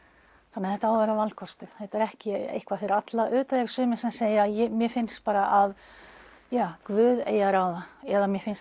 þannig að þetta á að vera valkostur þetta er ekki eitthvað fyrir alla auðvitað eru sumir sem segja mér finnst bara að Guð eigi að ráða eða mér finnst